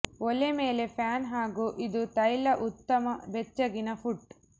ಒಲೆ ಮೇಲೆ ಪ್ಯಾನ್ ಹಾಗೂ ಇದು ತೈಲ ಉತ್ತಮ ಬೆಚ್ಚಗಿನ ಪುಟ್